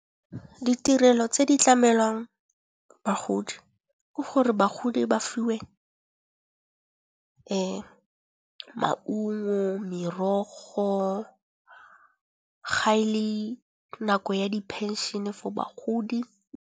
Ditirelo tse di tlamelwang bagodi, ke gore bagodi ba fiwe maungo, merogo ga e le nako ya di phenšene for bagodi.